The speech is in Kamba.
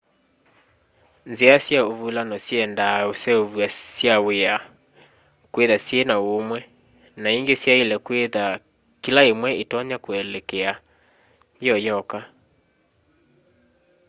nzĩa sya ũvũlano syendaa ĩseũvya sya wĩa kwĩtha syĩna ũũmwe na ĩngĩ syaĩle kwĩtha kĩla ĩmwe ĩtonya kũeleeka yĩoyoka